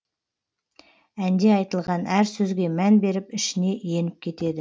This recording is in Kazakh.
әнде айтылған әр сөзге мән беріп ішіне еніп кетеді